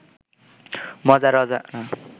মজার অজানা